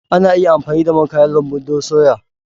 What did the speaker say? Ana iya amfani da man kayan lambu don soya.